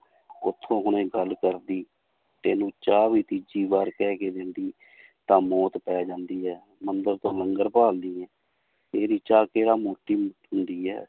ਉੱਥੋਂ ਹੁਣੇ ਗੱਲ ਕਰਦੀ ਤੈਨੂੰ ਚਾਹ ਵੀ ਤੀਜੀ ਵਾਰ ਕਹਿ ਕੇ ਦਿੰਦੀ ਤਾਂ ਮੌਤ ਪੈ ਜਾਂਦੀ ਹੈ ਮੰਦਿਰ ਤੋਂ ਲੰਗਰ ਭਾਲਦੀ ਹੈ, ਤੇਰੀ ਚਾਹ ਕਿਹੜਾ ਹੁੰਦੀ ਹੈ